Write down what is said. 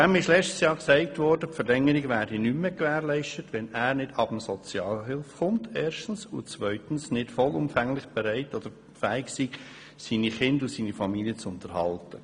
Ihm wurde im vergangenen Jahr gesagt, die Verlängerung würde nicht mehr gewährt, wenn er erstens nicht von der Sozialhilfe wegkommt und zweitens nicht vollumfänglich fähig ist, seine Kinder und seine Familie zu unterhalten.